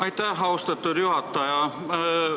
Aitäh, austatud juhataja!